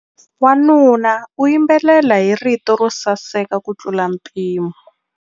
Wanuna u yimbelela hi rito ro saseka kutlula mpimo.